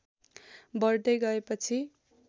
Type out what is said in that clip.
बढ्दै गएपछि